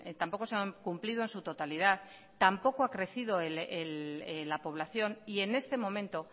tampoco se han cumplido en su totalidad tampoco ha crecido la población y en este momento